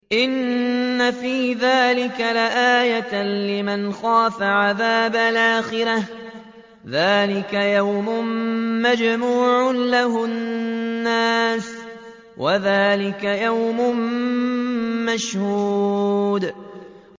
إِنَّ فِي ذَٰلِكَ لَآيَةً لِّمَنْ خَافَ عَذَابَ الْآخِرَةِ ۚ ذَٰلِكَ يَوْمٌ مَّجْمُوعٌ لَّهُ النَّاسُ وَذَٰلِكَ يَوْمٌ مَّشْهُودٌ